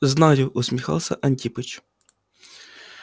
знаю усмехался антипыч